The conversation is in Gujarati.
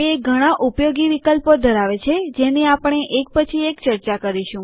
તે ઘણા ઉપયોગી વિકલ્પો ધરાવે છેજેની આપણે એક પછી એક ચર્ચા કરીશું